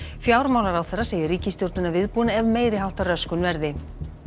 fjármálaráðherra segir ríkisstjórnina viðbúna ef meiri háttar röskun verði